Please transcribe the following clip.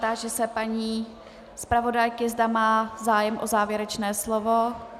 Táži se paní zpravodajky, zda má zájem o závěrečné slovo.